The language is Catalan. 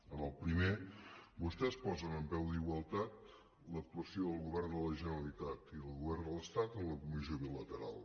en el primer vostès posen en peu d’igualtat l’actuació del govern de la generalitat i del govern de l’estat en la comissió bilateral